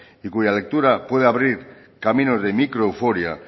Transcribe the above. y cuya lectura puede abrir caminos de micro euforia